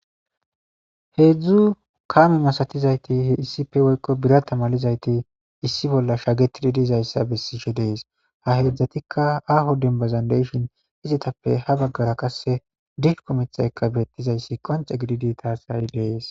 Heedzdzu kame masatizayti issife woykko birata malizayti issi bolla shagetidi dizayssa bessishe dees ha heedzdzatikka aho denbazan deshin izatappe ha baggara qasse dilku mitxayka beettizayssi qonce gididi taasai lees.